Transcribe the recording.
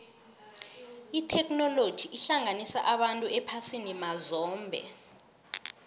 itheknoloji ihlanganisa abantu ephasini mazombe